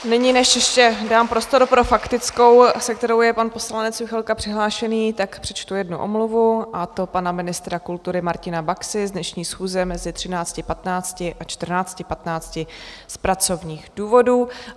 Nyní než ještě dám prostor pro faktickou, se kterou je pan poslanec Juchelka přihlášený, tak přečtu jednu omluvu, a to pana ministra kultury Martina Baxy z dnešní schůze mezi 13.15 a 14.15 z pracovních důvodů.